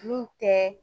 N'u tɛ